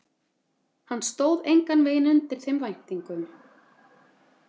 Hann stóð engan veginn undir þeim væntingum.